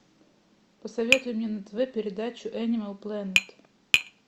посоветуй мне на тв передачу энимал плэнет